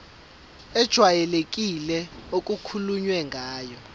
ejwayelekile okukhulunywe ngayo